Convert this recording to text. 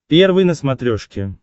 первый на смотрешке